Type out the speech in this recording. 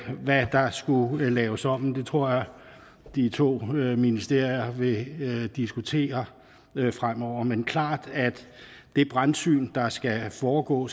skulle laves om men det tror jeg de to ministerier vil diskutere fremover men klart at det brandsyn der skal foregå